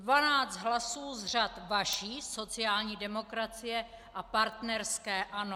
Dvanáct hlasů z řad vaší sociální demokracie a partnerské ANO.